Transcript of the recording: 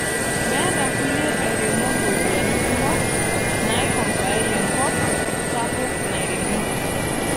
Meeta kulie airemok ropiyiani kumok naikompoayie enkop sapuk nairemi.